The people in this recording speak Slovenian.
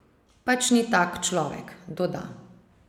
Pač ni tak človek, doda.